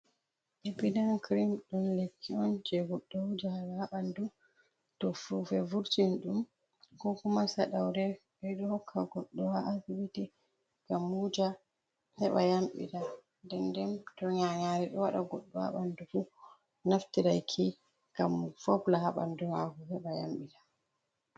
Epidam kirim ɗum lekki on jey, goɗɗo wujata haa ɓanndu. To fuufe vurtini ɗum ko kuma saɗawre .Ɓe ɗo hokka goɗɗo haa asibiti ngam wuja heɓa yamɗita denden , to nyanyaare ɗo waɗa goɗɗo haa ɓanndu fu, naftiray ki ngam fobla haa ɓanndu maako heɓa yamɗita.